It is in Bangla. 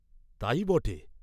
"তাই বটে!"